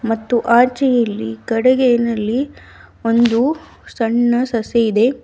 ಮತ್ತು ಆಚೆ ಇಲ್ಲಿ ಕಡುಗೇನಲ್ಲಿ ಒಂದು ಸಣ್ಣ ಸಸಿ ಇದೆ.